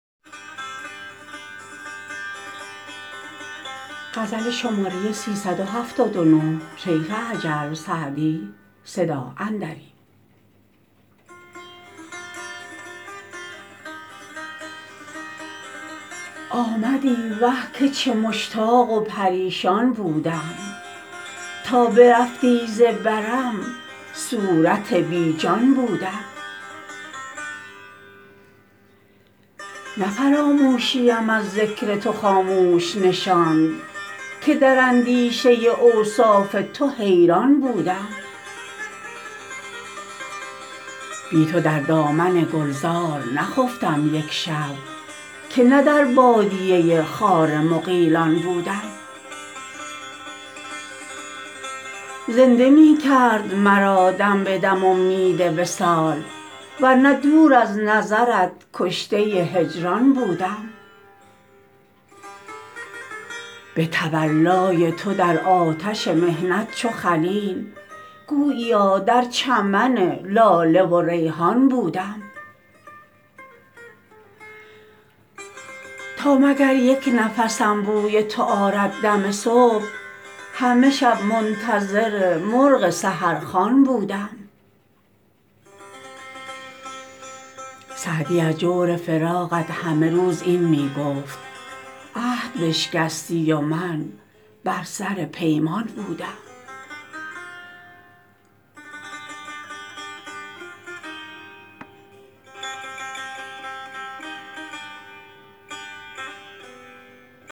آمدی وه که چه مشتاق و پریشان بودم تا برفتی ز برم صورت بی جان بودم نه فراموشیم از ذکر تو خاموش نشاند که در اندیشه اوصاف تو حیران بودم بی تو در دامن گلزار نخفتم یک شب که نه در بادیه خار مغیلان بودم زنده می کرد مرا دم به دم امید وصال ور نه دور از نظرت کشته هجران بودم به تولای تو در آتش محنت چو خلیل گوییا در چمن لاله و ریحان بودم تا مگر یک نفسم بوی تو آرد دم صبح همه شب منتظر مرغ سحرخوان بودم سعدی از جور فراقت همه روز این می گفت عهد بشکستی و من بر سر پیمان بودم